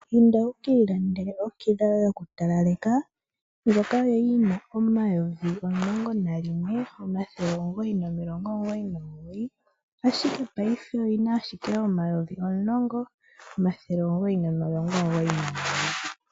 Inda wikiilandele okila yoye yoku talaleka ndjoka kwali yina omayovi omulongo nayimwe omathele omugoyi omilongo omugoyi nomugoyi, ashike payife oyina ashike omayovi omulongo omathele omugoyi nomilongo omugoyi nomugoyi.